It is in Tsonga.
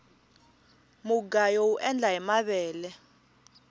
mugayo uendla hi mavele